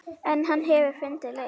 En hann hefur fundið leið.